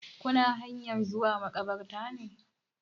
Kuna hanyan zuwa maƙabartar ne?